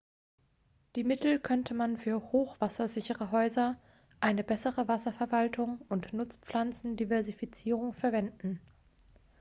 die mittel könnte man für hochwassersichere häuser eine bessere wasserverwaltung und nutzpflanzendiversifizierung verwenden